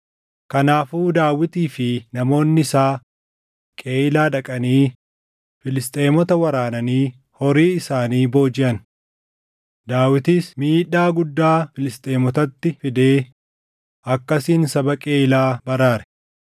Kanaafuu Daawitii fi namoonni isaa Qeyiilaa dhaqanii Filisxeemota waraananii horii isaanii boojiʼan. Daawitis miidhaa guddaa Filisxeemotatti fidee akkasiin saba Qeyiilaa baraare.